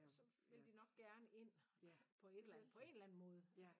Så ville de nok gerne ind på et eller andet på en eller anden måde